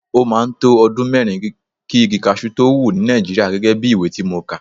Ó máa ń to ọdún mẹ́rin kí igi cashew tó wù ní Nàìjíríà gẹ́gẹ́ bí ìwé tí mo kà.